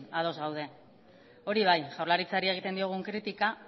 ados gaude hori bai jaurlaritzari egiten diogun kritika